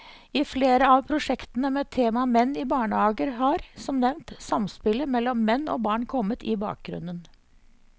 I flere av prosjektene med tema menn i barnehager har, som nevnt, samspillet mellom menn og barn kommet i bakgrunnen.